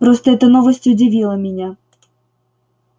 просто эта новость удивила меня